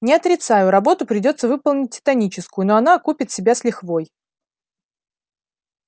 не отрицаю работу придётся выполнить титаническую но она окупит себя с лихвой